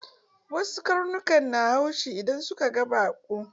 Wasu karnukan na haushi in suka gan baƙo